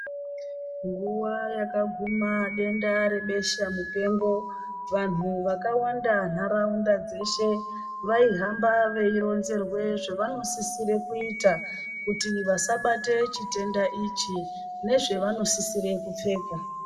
Nguwa yakaguma denda rebeshamupengo, vanhu vakawanda nharaunda dzeshe vaihamba veironzerwe zvavanosisire kuita, kuti vasabate chitenda ichi, nezvevanosisire kupfeka.